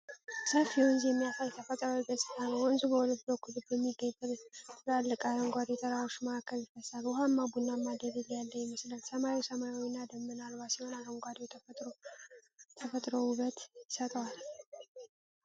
ሰፊ ወንዝ የሚያሳይ ተፈጥሮአዊ ገጽታ ነው። ወንዙ በሁለት በኩል በሚገኙ ትላልቅ አረንጓዴ ተራሮች መካከል ይፈስሳል። ውሃው ቡናማና ደለል ያለ ይመስላል። ሰማዩ ሰማያዊና ደመና አልባ ሲሆን አረንጓዴው ተፈጥሮ ውበት ይሰጠዋል።